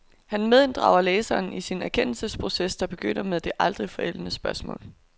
Han medinddrager læseren i sin erkendelsesproces, der begynder med det aldrig forældede spørgsmål.